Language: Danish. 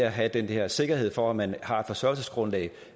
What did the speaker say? at have den her sikkerhed for at man har et forsørgelsesgrundlag